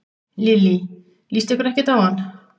Lillý: Líst ykkur ekkert á hann?